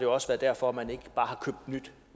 også været derfor at man ikke bare har købt nyt